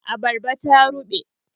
Abarbar ta ruɓe